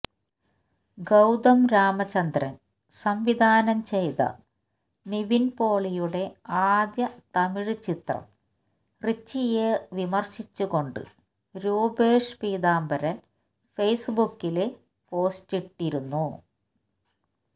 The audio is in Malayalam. ഗൌതം രാമചന്ദ്രന് സംവിധാനം ചെയ്ത നിവിന് പോളിയുടെ ആദ്യ തമിഴ് ചിത്രം റിച്ചിയെ വിമര്ശിച്ചുകൊണ്ട് രൂപേഷ് പീതാംബരന് ഫെയ്സ്ബുക്കില് പോസ്റ്റിട്ടിരുന്നു